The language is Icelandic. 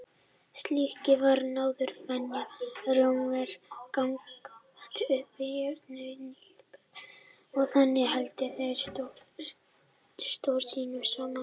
Slíkt var nánast venja Rómverja gagnvart uppreisnargjörnum nýlendubúum og þannig héldu þeir stórveldi sínu saman.